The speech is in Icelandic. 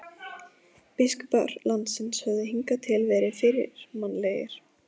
Biskupar landsins höfðu hingað til verið fyrirmannlegir.